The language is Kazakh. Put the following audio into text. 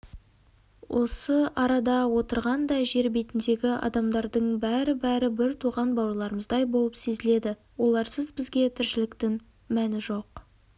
осы арада отырған да жер бетіндегі адамдардың бәрі-бәрі бір туған бауырларымыздай болып сезіледі оларсыз бізге тіршіліктің мәні жоқ